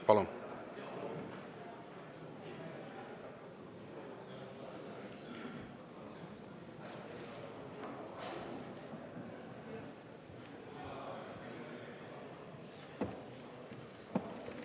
Palun!